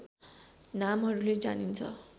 नामहरूले जानिन्छ